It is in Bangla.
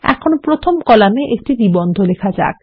এখন প্রথম কলামে একটি নিবন্ধ লেখা যাক